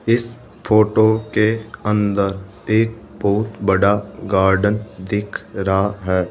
इस फोटो के अंदर एक बहुत बड़ा गार्डन दिख रहा है।